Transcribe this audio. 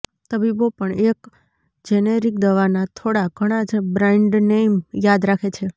તબીબો પણ એક જેનેરિક દવાના થોડા ઘણાં જ બ્રાન્ડનેઇમ યાદ રાખે છે